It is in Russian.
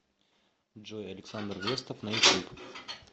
джой александр вестов на ютуб